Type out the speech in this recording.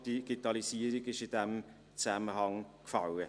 Das Stichwort «Digitalisierung» wurde in diesem Zusammenhang genannt.